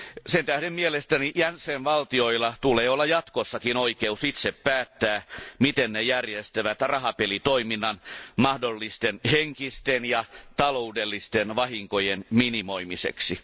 Sen tähden mielestäni jäsenvaltioilla tulee olla jatkossakin oikeus itse päättää, miten ne järjestävät rahapelitoiminnan mahdollisten henkisten ja taloudellisten vahinkojen minimoimiseksi.